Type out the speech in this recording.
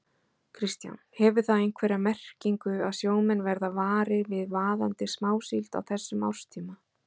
Kristján: Hefur það einhverja merkingu að sjómenn verða varir við vaðandi smásíld á þessum árstíma?